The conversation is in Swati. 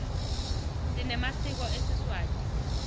sinemasiko esiswati